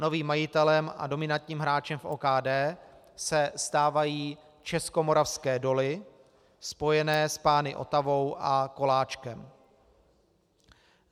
Novým majitelem a dominantním hráčem v OKD se stávají Českomoravské doly spojené s pány Otavou a Koláčkem.